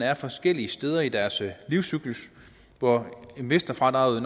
er forskellige steder i deres livscyklus og investorfradraget